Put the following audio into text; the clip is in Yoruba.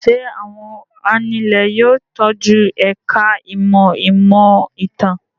Ṣé àwọn anulẹ̀ yóò tọ́jú ẹ̀ka-ìmọ̀ ìmọ̀-ìtàn?